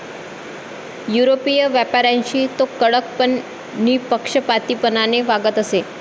युरोपीय व्यापाऱ्यांशी तो कडक पण निःपक्षपातीपणाने वागत असे.